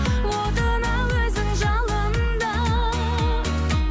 отына өзің жалында